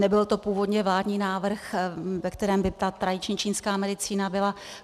Nebyl to původně vládní návrh, ve kterém by ta tradiční čínská medicína byla.